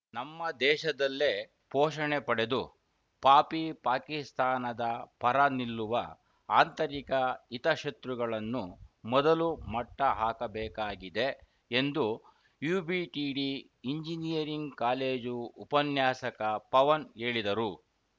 ನಮ್ಮ ದೇಶದಲ್ಲೇ ಪೋಷಣೆ ಪಡೆದು ಪಾಪಿ ಪಾಕಿಸ್ತಾನದ ಪರ ನಿಲ್ಲುವ ಆಂತರಿಕ ಹಿತ ಶತ್ರುಗಳನ್ನು ಮೊದಲು ಮಟ್ಟಹಾಕಬೇಕಾಗಿದೆ ಎಂದು ಯುಬಿಡಿಟಿ ಇಂಜಿನಿಯರಿಂಗ್‌ ಕಾಲೇಜು ಉಪನ್ಯಾಸಕ ಪವನ್‌ ಹೇಳಿದರು